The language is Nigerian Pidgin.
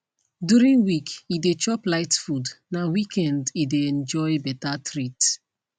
during week e dey chop light food na weekend e dey enjoy better treat